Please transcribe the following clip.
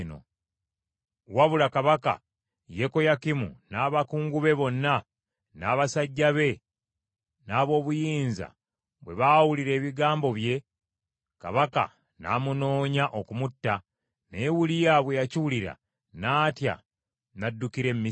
Wabula kabaka Yekoyakimu n’abakungu be bonna n’abasajja be n’ab’obuyinza, bwe baawulira ebigambo bye, kabaka n’amunoonya okumutta, naye Uliya bwe yakiwulira n’atya n’addukira e Misiri.